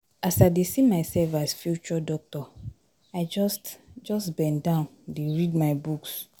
As I dey see myself as future doctor, I just just bendown dey read my books.